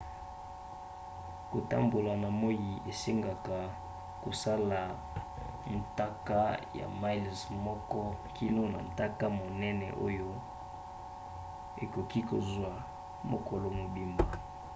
kotambola na moi esengaka kosala ntaka ya miles moko kino na ntaka monene oyo ekoki kozwa mokolo mobimba